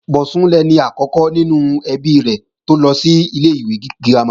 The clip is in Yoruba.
Bọ̀sún lẹni àkọ́kọ́ nínú ẹbí rẹ̀ tó lọ sí ilé-ìwé girama